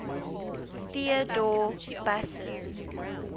theodor busse's